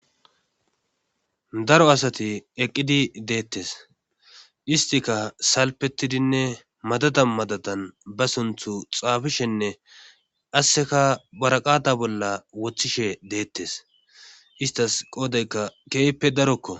daro asati eqqidi deettes istika salpetidinne madada madadan ba sunthu xaafishenne qasseka baraqata bolla woththishe deettes istas qoodaykka keeppe darokko